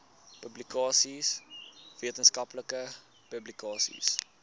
publikasies wetenskaplike publikasies